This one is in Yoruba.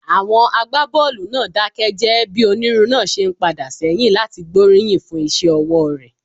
Àwọn agbábọ́ọ̀lù náà dákẹ́ jẹ́ẹ́ bí onírun náà ṣe ń padà sẹ́yìn láti gbóríyìn fún iṣẹ́ ọwọ́ rẹ̀.